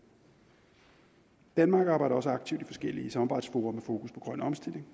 danmark arbejder også aktivt i forskellige samarbejdsfora med fokus på grøn omstilling